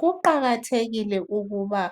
Kuqakathekile ukuba